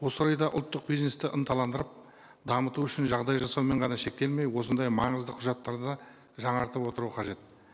осы орайда ұлттық бизнесті ынталандырып дамыту үшін жағдай жасаумен ғана шектелмей осындай маңызды құжаттарды жаңартып отыру қажет